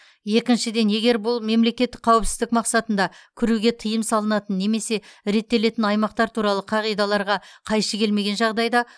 екіншіден егер бұл мемлекеттік қауіпсіздік мақсатында кіруге тиым салынатын немесе реттелетін аймақтар туралы қағидаларға қайшы келмеген жағдайда